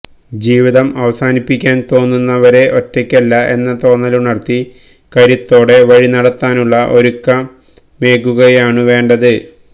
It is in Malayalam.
ജീവിതം അവസാനിപ്പിക്കാൻ തോന്നുന്നവരെ ഒറ്റയ്ക്കല്ല എന്ന തോന്നലുണർത്തി കരുത്തോടെ വഴിനടത്താനുള്ള ഒരുക്കമേകുകയാണുവേണ്ടത്